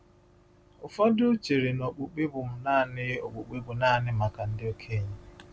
Ụfọdụ chere na okpukpe bụ naanị okpukpe bụ naanị maka ndị okenye.